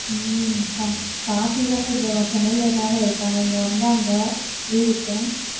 உம் பா~ பாட்டி தான் டா இங்க வா~ சென்னையிலதான இருக்காங்க இங்க வந்தாங்க leave க்கு